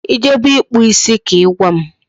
Ị jebe ịkpụ isi ka Ị gwa m